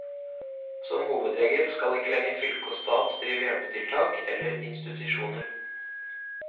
Som hovedregel skal ikke lenger fylke og stat drive hjelpetiltak eller institusjoner.